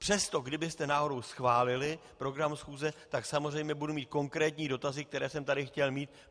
Přesto, kdybyste náhodou schválili program schůze, tak samozřejmě budu mít konkrétní dotazy, které jsem tady chtěl mít.